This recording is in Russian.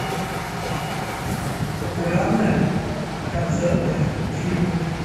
популярные концертные фильмы